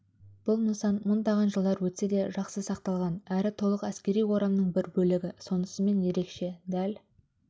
бұл нысан мыңдаған жылдар өтсе де жақсы сақталған әрі толық әскери орамның бір бөлігі сонысымен ерекше дәл